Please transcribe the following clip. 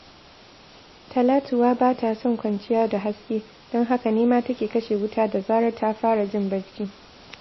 Talatuwa ba ta son kwanciya da haske, don haka ne ma take kashe wuta da zarar ta fara jin barci